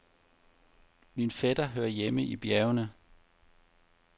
Min fætter hører hjemme i bjergene.